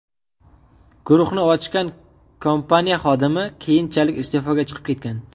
Guruhni ochgan kompaniya xodimi keyinchalik iste’foga chiqib ketgan.